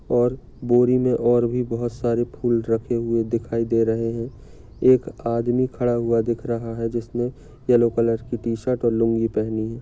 और बोरि मे और भी बहुत सारे फूल रखे हुए दिखाई दे रही है। एक आदमी खड़ा हुआ दिख रहा है जिसने येलो कलर की टी-शर्ट और लुंगी पहनी है।